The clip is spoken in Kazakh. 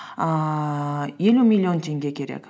ііі елу миллион теңге керек